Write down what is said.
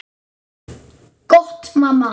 Gott mamma.